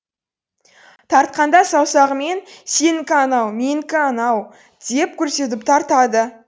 тартқанда саусағымен сенікі анау менікі мынау деп көрсетіп тартады